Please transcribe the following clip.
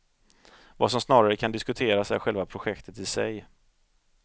Vad som snarare kan diskuteras är själva projektet i sig.